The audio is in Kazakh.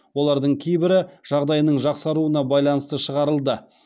олардың кейбірі жағдайының жақсаруына байланысты шығарылды